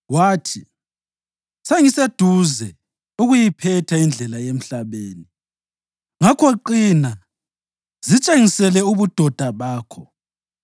Wathi, “Sengiseduze ukuyiphetha indlela yemhlabeni. Ngakho qina, zitshengisele ubudoda bakho,